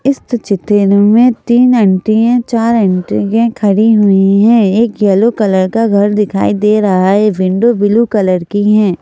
इस चित्र में तीन अंटी हैं चार अंटी हैं खड़ी हुई हैं एक यलो कलर का घर दिखाई दे रहा है विंडो ब्लू कलर की हैं।